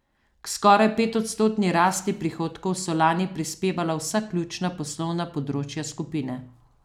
K skoraj petodstotni rasti prihodkov so lani prispevala vsa ključna poslovna področja skupine.